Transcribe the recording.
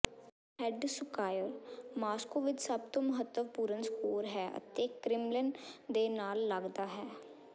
red square Moscow ਵਿਚ ਸਭ ਤੋਂ ਮਹੱਤਵਪੂਰਣ ਸਕੋਰ ਹੈ ਅਤੇ ਕ੍ਰਿਮਲਿਨ ਦੇ ਨਾਲ ਲਗਦਾ ਹੈ